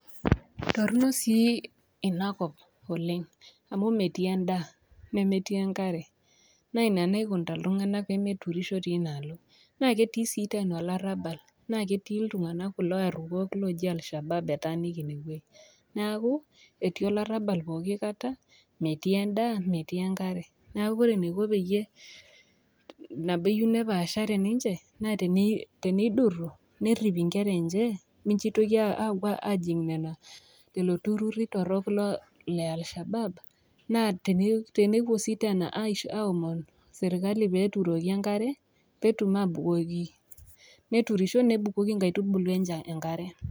Torono sii ina kop oleng' amu metii endaa, nemetii enkare, naa ina naikunita iltung'anak pee meturisho teinaalo. Naa ketii sii teena olarabal, naa ketii kulo tung'ana aruok oji Al-shabaab etaaniki ina wueji, neaku etii olarabal pooki kata, metii endaa metii enkare neaku kore eneiko peiye epaashare ninche naa teneiduru, nerip inkera enye mincho eitoki aapuo aajing' lelo tururri torok le Al-shabaab naa tenepuo sii teena aomon serkali pee eturoki enkare pee etum aabukoki neturisho netum abukoki inkaitubulu enye enkare.